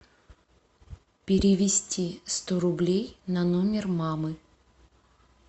перевести сто рублей на номер мамы